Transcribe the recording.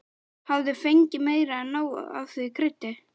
Hafði fengið meira en nóg af því kryddi.